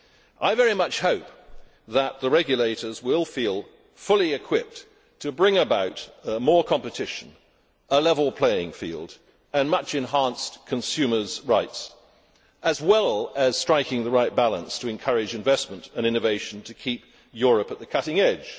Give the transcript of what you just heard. I very much hope that the regulators will feel fully equipped to bring about more competition, a level playing field and much enhanced consumers' rights, as well as striking the right balance to encourage investment and innovation to keep Europe at the cutting edge.